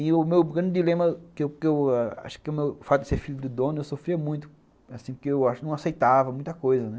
E o meu grande dilema, que que eu acho que é o fato de ser filho do dono, eu sofria muito, assim, porque eu acho que não aceitava muita coisa, né?